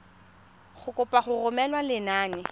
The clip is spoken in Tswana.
go kopa go romela lenane